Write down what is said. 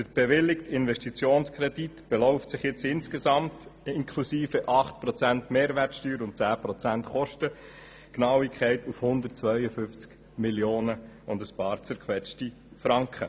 Der bewilligte Investitionskredit beläuft sich insgesamt – inklusive 8 Prozent Mehrwertsteuer und 10 Prozent Kostengenauigkeit – auf 152 Mio. und ein paar zerquetschte Franken.